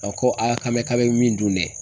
A ko a k'an bɛ k'a bɛ min dun dɛ